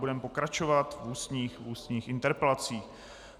Budeme pokračovat v ústních interpelacích.